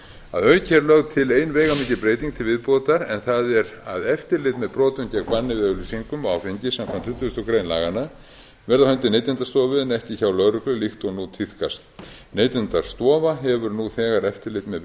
að auki er lögð til ein veigamikil breyting til viðbótar en það er að eftirlit með banni gegn brotum við auglýsingum á áfengi samkvæmt tuttugustu greinar laganna verði á hendi neytendastofu en ekki hjá lögreglu líkt og nú tíðkast neytendastofa hefur nú þegar eftirlit með